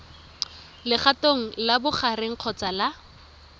legatong la bogareng kgotsa la